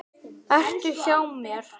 Vertu hjá mér.